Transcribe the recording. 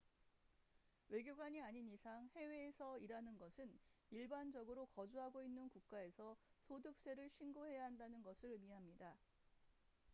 외교관이 아닌 이상 해외에서 일하는 것은 일반적으로 거주하고 있는 국가에서 소득세를 신고해야 한다는 것을 의미합니다